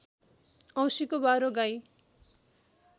औँसीको बारो गाई